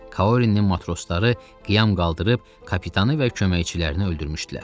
Kaurinin matrosları qiyam qaldırıb kapitanı və köməkçilərini öldürmüşdülər.